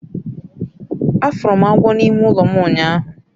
afuru m agwo n'ime ulo m unyahu